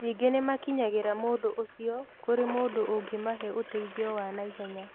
Ningĩ nĩ makinyagĩria mũndũ ũcio kũrĩ mũndũ ũngĩmahe ũteithio wa naihenya.